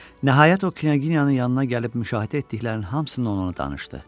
Nəhayət, o knyaqiyanın yanına gəlib müşahidə etdiklərinin hamısını ona danışdı.